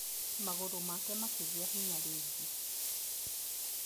Magũrũ make makĩgĩa hinya rĩngĩ.